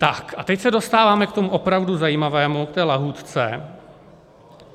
Tak a teď se dostáváme k tomu opravdu zajímavému, k té lahůdce.